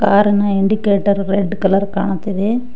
Car ನ indicator red colour ಕಾಣುತ್ತಿದೆ.